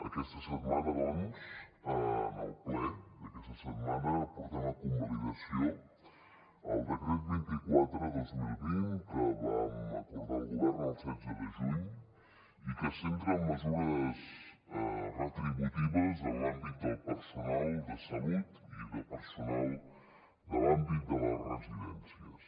aquesta setmana doncs en el ple d’aquesta setmana portem a convalidació el decret vint quatre dos mil vint que vam acordar el govern el setze de juny i que es centra en mesures retributives en l’àmbit del personal de salut i de personal de l’àmbit de les residències